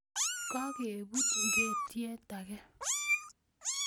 Kaketub ingekiet ake